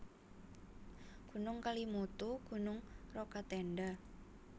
Gunung KelimutuGunung Rokatenda